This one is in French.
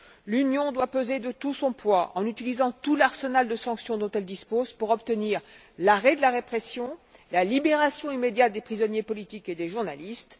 L'Union doit peser de tout son poids en utilisant tout l'arsenal de sanctions dont elle dispose pour obtenir l'arrêt de la répression, la libération immédiate des prisonniers politiques et des journalistes.